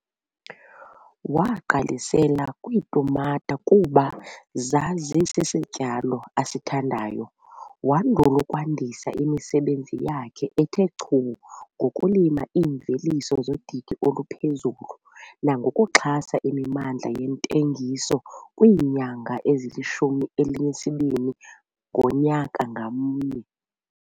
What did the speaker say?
Wagqalisela kwiitumata kuba zazisisityalo asithandayo wandul' ukwandisa imisebenzi yakhe ethe chu ngokulima iimveliso zodidi oluphezulu nangokuxhasa imimandla yentengiso kwiinyanga ezilishumi elinesibini ngonyaka ngamnye.